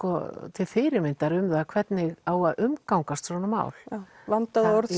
til fyrirmyndar um það hvernig á að umgangast svona mál vanda orð